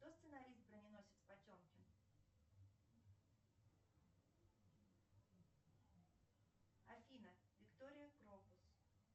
кто сценарист броненосец потемкин афина виктория крокус